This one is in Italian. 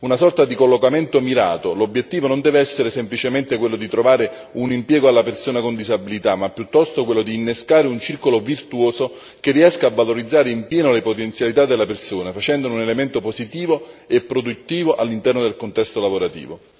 Una sorta di collocamento mirato, l'obiettivo non deve essere semplicemente quello di trovare un impiego alla persona con disabilità, ma piuttosto quello di innescare un circolo virtuoso che riesca a valorizzare in pieno le potenzialità della persona, facendone un elemento positivo e produttivo all'interno del contesto lavorativo.